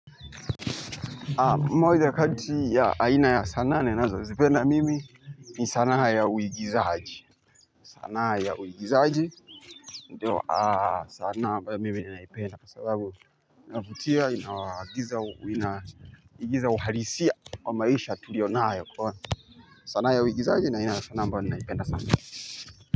Moja kati ya aina ya sanaa ninazozipenda mimi ni sanaa ya uigizaji. Sanaa ya uigizaji ndiyo sanaa mbayo mimi naipenda kwa sababu inavutia inawagiza inaigiza uhalisia wa maisha tuliyo nayo kwa sanaa ya uigizaji ni aina ya sanaa ambayo naipenda sana.